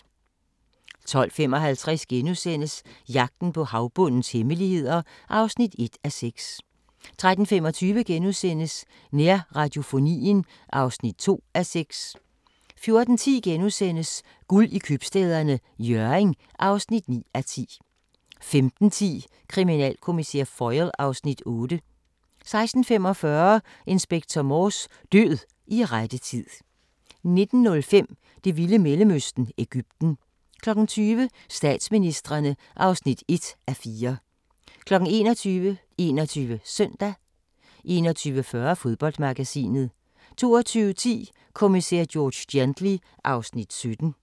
12:55: Jagten på havbundens hemmeligheder (1:6)* 13:25: Nærradiofonien (2:6)* 14:10: Guld i Købstæderne – Hjørring (9:10)* 15:10: Kriminalkommissær Foyle (Afs. 8) 16:45: Inspector Morse: Død i rette tid 19:05: Det vilde Mellemøsten – Egypten 20:00: Statsministrene (1:4) 21:00: 21 Søndag 21:40: Fodboldmagasinet 22:10: Kommissær George Gently (Afs. 17)